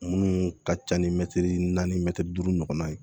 Munnu ka ca ni mɛtiri naani mɛtiri duuru ɲɔgɔnna ye